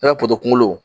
I b'a putulo